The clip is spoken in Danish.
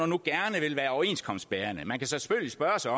nu gerne vil være overenskomstbærende man kan selvfølgelig spørge sig